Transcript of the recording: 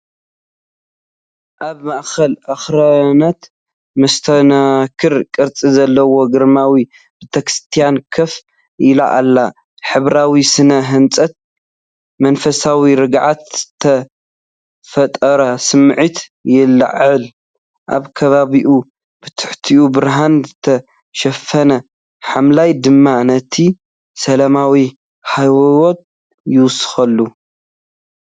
ኣብ ማእከል ኣኽራናት መስተንክር ቅርጺ ዘለዎ ግርማዊ ቤተክርስትያን ኮፍ ኢሉ ኣሎ። ሕብራዊ ስነ ህንጻኣ መንፈሳዊ ርግኣት ዝፈጥር ስምዒት ይለዓዓል፣ ኣብ ከባቢኡ ብትሑት ብርሃን ዝተሸፈነ ሓምላይ ድማ ነቲ ሰላማዊ ሃዋህው ይውስኸሉ።